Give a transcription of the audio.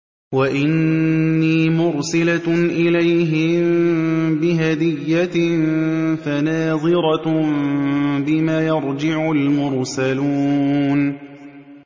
وَإِنِّي مُرْسِلَةٌ إِلَيْهِم بِهَدِيَّةٍ فَنَاظِرَةٌ بِمَ يَرْجِعُ الْمُرْسَلُونَ